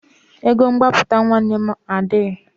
Ego mgbapụta nwanne m adịghị.